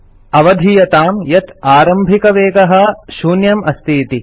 अवधीयतां यत् आरम्भिकवेगः 0 अस्तीति